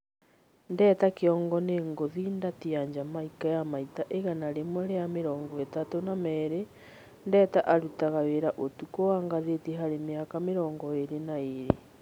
Ndeta Kĩongo nĩ ngũthi Ndati ya Jamaika ya maita igana rĩmwe rĩa mĩrongo-ĩtatũ na merĩ. Ndeta arutaga wĩra ũtukũ wa ngathĩti harĩ mĩaka mĩrongo ĩrĩ na ĩrĩ.